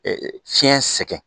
Fiɲɛ sɛgɛn